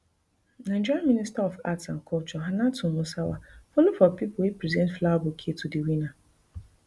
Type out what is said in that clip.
nigeria minister of arts and culture hannatu musawa follow for pipo wey present flower bouquet to di winner